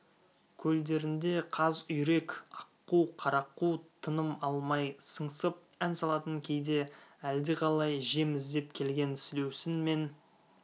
көлдерінде қаз-үйрек аққу қарақу тыным алмай сыңсып ән салатын кейде әлдеқалай жем іздеп келген сілеусін мен